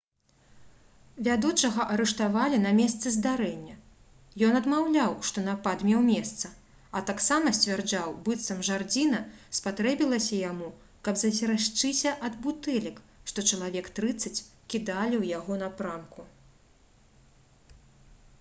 вядучага арыштавалі на месцы здарэння ён адмаўляў што напад меў месца а таксама сцвярджаў быццам жардзіна спатрэбілася яму каб засцерагчыся ад бутэлек што чалавек трыццаць кідалі ў яго напрамку